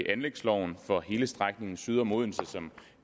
anlægsloven for hele strækningen syd om odense som